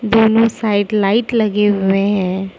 दोनो side light लगे हुएं हैं।